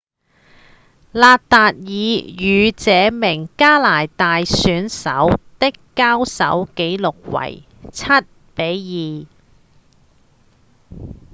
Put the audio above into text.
納達爾與這名加拿大選手的交手紀錄為 7–2